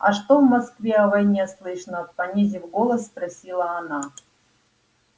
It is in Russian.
а что в москве о войне слышно понизив голос спросила она